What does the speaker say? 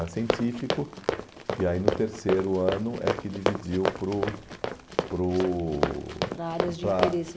Era científico e aí no terceiro ano é que dividiu para o, para o... Para áreas de interesse.